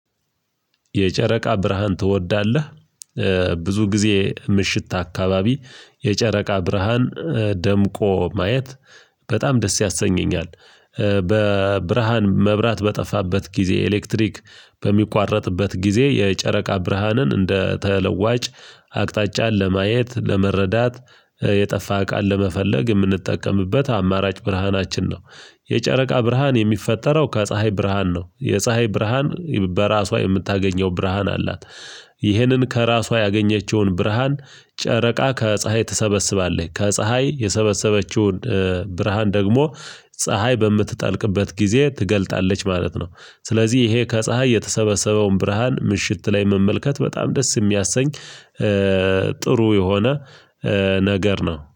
የጨረቃ ብርሃን ትወዳለህ? ብዙ ጊዜ ምሽት አካባቢ የጨረቃ ብርሃን ደምቆ ማየት በጣም ደስ ያሰኘኛል። በብርሃን መብራት በጠፋበት ጊዜ ኤሌክትሪክ በሚቋረጥበት ጊዜ የጨረቃ ብርሃንን እንደ ተለዋጭ አቅጣጫን ለማየት ለመረዳት የጠፋ እቃን ለመፈለግ የምንጠቀምበት አማራጭ ብርሃናችን ነው። የጨረቃ ብርሃን የሚፈጠረው ከፀሀይ ብርሃን ነው የፀሀይ ብርሃን በራሷ የምታገኘው ብርሃን አላት። ይህንን ከራሷ ያገኘችውን ብርሃን ጨረቃ ከፀሀይ ትሰበስባለች ከፀሀይ የሰበሰበችውን ብርሃን ደግሞ ፀሀይ በምትጠልቅበት ጊዜ ትገልጣለች ማለት ነው። ስለዚህ ይሄ ከፀሀይ የተሰበሰበውን ብርሃን ምሽት ላይ መመልከት በጣም ደስ የሚያሰኝ ጥሩ የሆነ ነገር ነው